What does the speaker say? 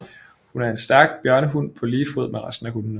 Hun er en stærk bjørnehund på lige fod med resten af hundene